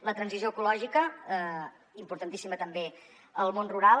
la transició ecològica importantíssima també al món rural